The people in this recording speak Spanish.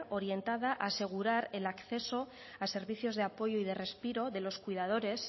orientada a asegurar el acceso a servicios de apoyo y de respiro de los cuidadores